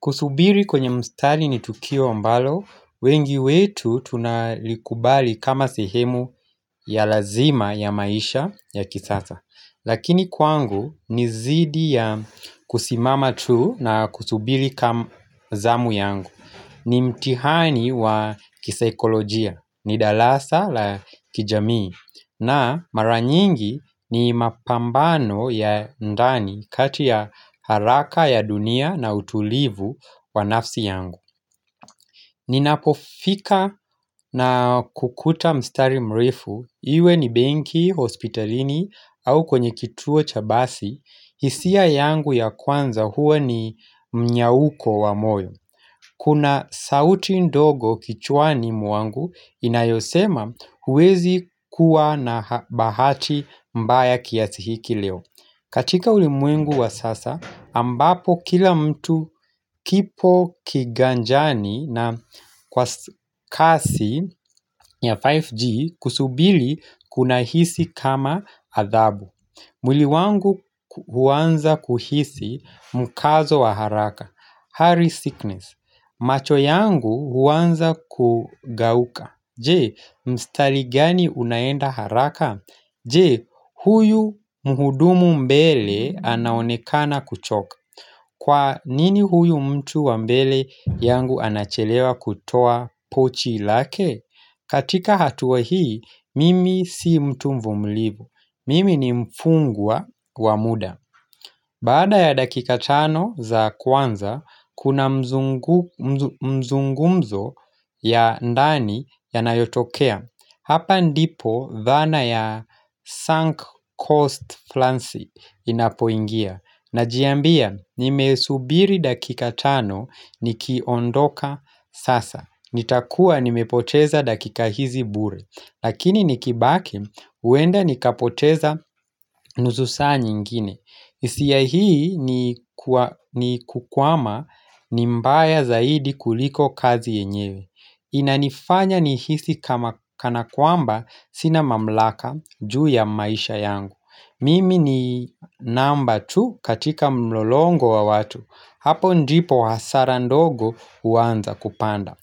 Kusubiri kwenye mstari ni tukio ambalo, wengi wetu tunalikubali kama sehemu ya lazima ya maisha ya kisasa. Lakini kwangu ni zidi ya kusimama tu na kusubiri kama zamu yangu. Ni mtihani wa kisaikolojia, ni dalasa la kijamii. Na maranyingi ni mapambano ya ndani kati ya haraka ya dunia na utulivu wa nafsi yangu Ninapofika na kukuta mstari mrefu, iwe ni benki, hospitalini au kwenye kituo chabasi hisia yangu ya kwanza huwe ni mnyauko wa moyo Kuna sauti ndogo kichwani mwangu inayosema huwezi kuwa na bahati mbaya kiasi hiki leo. Katika ulimwengu wa sasa, ambapo kila mtu kipo kiganjani na kwa kasi ya 5G kusubili kuna hisi kama adhabu. Mwili wangu huwanza kuhisi mkazo wa haraka hari sickness macho yangu huwanza kugauka Je, mstari gani unaenda haraka? Je, huyu muhudumu mbele anaonekana kuchoka Kwa nini huyu mtu wa mbele yangu anachelewa kutoa pochi ilake? Katika hatuwa hii, mimi si mtu mvumlibu Mimi ni mfungwa wa muda Baada ya dakika tano za kwanza Kuna mzunguko mzungumzo ya ndani ya nayotokea Hapa ndipo dhana ya sunk cost flansi inapoingia na jiambia nimesubiri dakika tano ni kiondoka sasa nitakua nimepoteza dakika hizi bure Lakini nikibake uenda nikapoteza nususa nyingine. Hisia hii ni kukwama nimbaya zaidi kuliko kazi yenyewe. Inanifanya nihisi kana kwamba sina mamlaka juu ya maisha yangu. Mimi ni namba tu katika mlolongo wa watu. Hapo ndipo hasara ndogo uanza kupanda.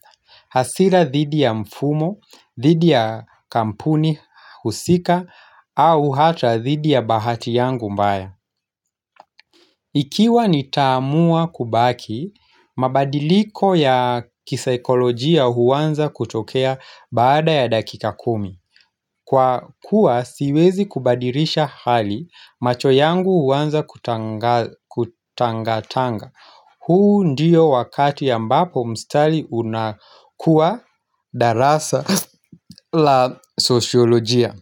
Hasira dhidi ya mfumo, dhidi ya kampuni, husika, au hata dhidi ya bahati yangu mbaya. Ikiwa nitamua kubaki, mabadiliko ya kisaikolojia huwanza kutokea baada ya dakika kumi. Kwa kuwa siwezi kubadirisha hali macho yangu huwanza kutangatanga. Huu ndiyo wakati ambapo mstali unakuwa darasa la sosholojia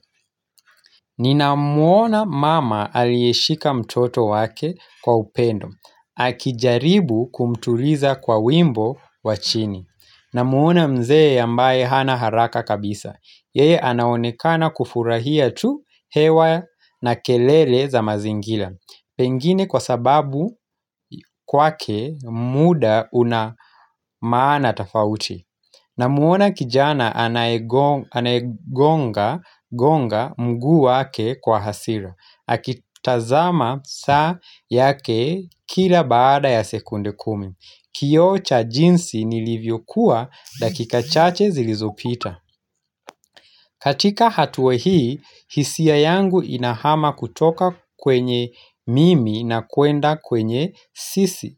Nina muona mama alieshika mtoto wake kwa upendo Akijaribu kumtuliza kwa wimbo wachini na muona mzee ambaye hana haraka kabisa Yeye anaonekana kufurahia tu hewa na kelele za mazingila Pengine kwa sababu kwake muda una maana tafauti na muona kijana anaegonga mgu wake kwa hasira Akitazama saa yake kila baada ya sekunde kumi Kiocha jinsi nilivyokuwa dakika chache zilizopita katika hatua hii, hisia yangu inahama kutoka kwenye mimi na kwenda kwenye sisi.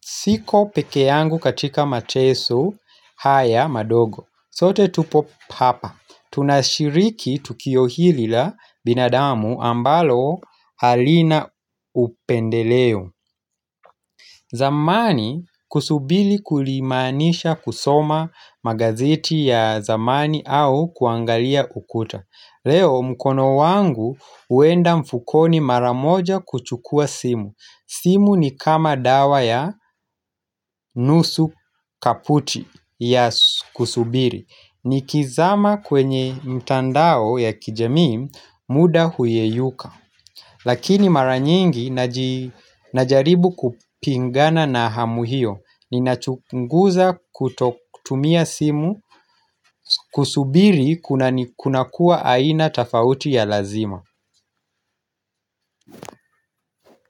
Siko peke yangu katika mateso haya madogo. Sote tupo papa. Tunashiriki tukio hili la binadamu ambalo alina upendeleo. Zamani kusubili kulimanisha kusoma magazeti ya zamani au kuangalia ukuta Leo mkono wangu uenda mfukoni maramoja kuchukua simu simu ni kama dawa ya nusu kaputi ya kusubili ni kizama kwenye mtandao ya kijami muda huyeyuka Lakini maranyingi najaribu kupingana na hamuhio ni nachunguza kuto kutumia simu kusubiri kuna ni kunakua aina tafauti ya lazima.